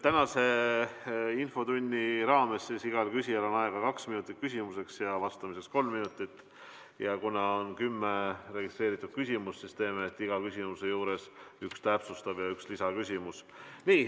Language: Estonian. Tänases infotunnis on igal küsijal aega kaks minutit küsimuse esitamiseks ja vastajal vastamiseks kolm minutit ja kuna on kümme registreeritud küsimust, siis teeme nii, et iga küsimuse juures on üks täpsustav ja üks lisaküsimus.